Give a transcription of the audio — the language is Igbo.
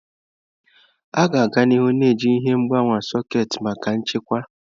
A ga-aga n'ihu na-eji ihe mgbawa sekit maka nchekwa.